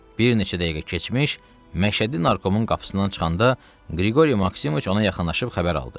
Bir neçə dəqiqə keçmiş, Məşədi narkomun qapısından çıxanda Qriqori Maksimoviç ona yaxınlaşıb xəbər aldı.